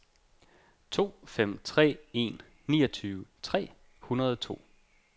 to fem tre en niogtyve tre hundrede og to